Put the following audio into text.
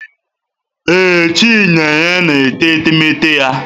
Ee, Chinenye na-ete etemeete ya.